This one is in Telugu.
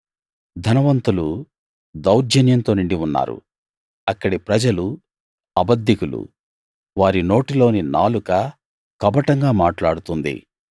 ధనవంతులు దౌర్జన్యంతో నిండి ఉన్నారు అక్కడి ప్రజలు అబద్దికులు వారి నోటిలోని నాలుక కపటంగా మాట్లాడుతుంది